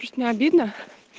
пить не обидно